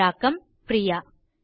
தமிழாக்கம் பிரியா